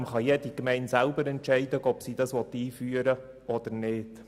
Zudem kann jede Gemeinde selber entscheiden, ob sie dies einführen möchte oder nicht.